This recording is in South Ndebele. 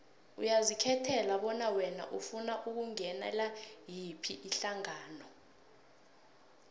uyazikhethela bona wena ufuna ukungenela yiphi ihlangano